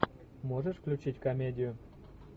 можешь включить комедию